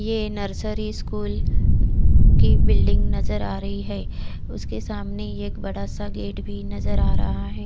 ये nursery school की building नज़र आ रही है उसके सामने एक बड़ा सा गेट भी नज़र आ रहा है।